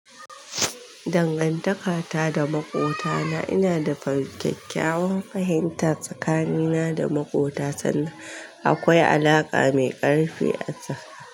Dangantakata da makwabtana, ina da kyakkyawan fahimta tsakanina da makwabta sanda akwai alaka mai karfi tsakaninmu.